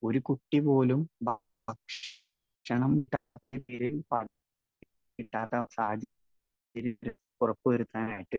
speaker 1 ഒരു കുട്ടി പോലും ഭക്ഷണം കിട്ടാത്ത സാഹചര്യം ഉറപ്പുവരുത്താനായിട്ട്